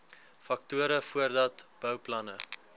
faktore voordat bouplanne